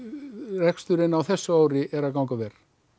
reksturinn á þessu ári er að ganga vel